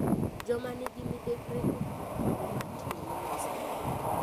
Joma nigi midekre ok yud thuolo mar tiyo ne Nyasaye.